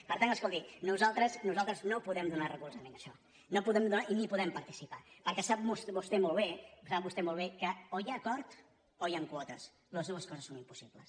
per tant escolti nosaltres no podem donar recolzament a això no li’n podem donar i no hi podem participar perquè sap vostè molt bé sap vostè molt bé que o hi ha acord o hi han quotes les dues coses són impossibles